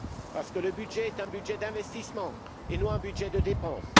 Parce que le budget est un budget d'investissement, et non un budget de dépense.